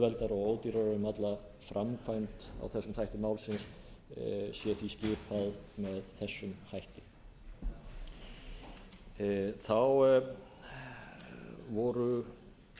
um alla framkvæmd á þessum þætti málsins sé því skipað með þessum hætti þá voru tvö atriði er